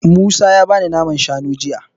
Musa ya bani naman shanu jiya.